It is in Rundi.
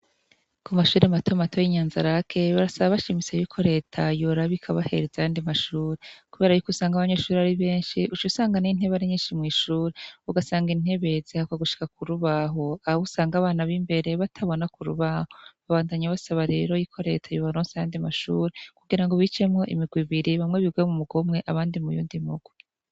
Ku mashuri matomato y'inyanza rake barasaba bashimise yuko reta yurabikoabahereza ahandi mashuri, kubera yuko usanga abanyeshuri ari benshi usha usanganey'intebari nyinshi mw'ishuri ugasanga intebezi hakwa gushika ku rubaho aba bo usanga abana b'imbere batabona ku rubaho babandanya basaba rero yiko reta yubaronsi handi mashuri kugira ngo ubicemwo imiwe biri bamwe birwe mu mugomwe abandi muyondimki.